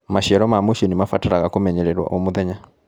Maciaro ma mũciĩnĩ nĩmabataraga kũmenyererwo o mũthenya.